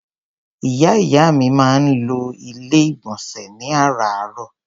Ìyá ìyá mi máa ń lo Ilé-ìgbọ̀nsẹ̀ ní àràárọ̀.